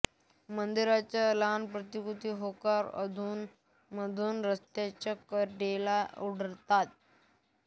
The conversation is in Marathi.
मंदिरांच्या लहान प्रतिकृती होकोरा अधूनमधून रस्त्यांच्या कडेला आढळतात